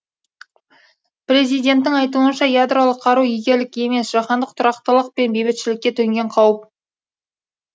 президенттің айтуынша ядролық қару игілік емес жаһандық тұрақтылық пен бейбітшілікке төнген қауіп